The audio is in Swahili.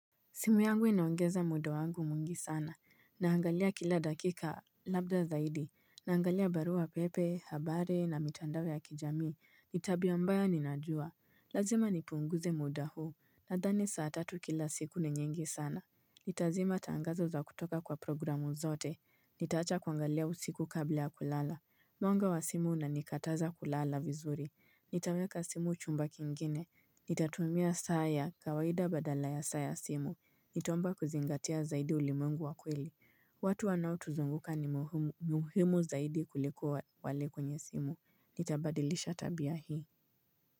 Simu yangu inaongeza muda wangu mwingi sana. Naangalia kila dakika labda zaidi. Naangalia barua pepe, habari na mitandao ya kijamii. Ni tabia mbaya ninajua. Lazima nipunguze muda huu. Nadhani saa tatu kila siku ni nyingi sana. Nitazima tangazo za kutoka kwa programu zote. Nitawacha kuangalia usiku kabla ya kulala. Mwanga wa simu unanikataza kulala vizuri. Nitaweka simu chumba kingine. Nitatumia saa ya kawaida badala ya saa ya simu. Nitaomba kuzingatia zaidi ulimwengu wa kweli watu wanaotuzunguka ni muhimu zaidi kulikuwa wale kwenye simu Nitabadilisha tabia hii.